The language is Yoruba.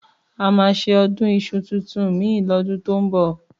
Àmá sẹ ọ̀dún ìsú títùn mi lọ̀dún tọ ń mbọ